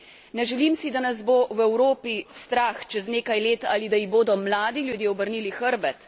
Ne želim si, da nas bo v Evropi strah čez nekaj let ali da ji bodo mladi ljudje obrnili hrbet.